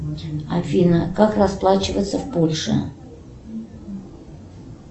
афина как расплачиваться в польше